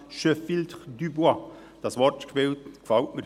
dieses Wortspiel gefällt mir.